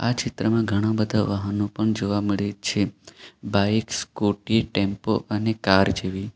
આ ચિત્રમાં ઘણા બધા વાહનો પણ જોવા મળે છે બાઈક સ્કુટી ટેમ્પો અને કાર જેવી --